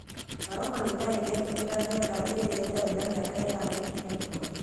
Morocco nĩ ĩtetĩkagĩria ngari iria itarĩ na mĩaka ĩtano ikinye bũrũri-inĩ.